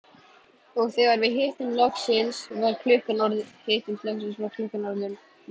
Og þegar við hittumst loksins var klukkan orðin margt.